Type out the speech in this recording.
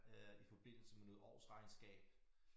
Øh i forbindelse med noget årsregnskab